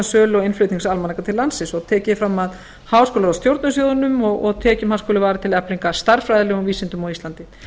sölu og innflutnings almanaka til landsins tekið er fram að háskólaráð stjórni sjóðnum og að tekjum hans skuli varið til eflingar stærðfræðilegum vísindum á íslandi